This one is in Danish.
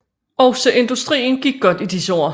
Også industrien gik godt i disse år